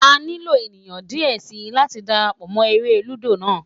A nilo eniyan diẹ sii lati darapọ mọ ere ludo naa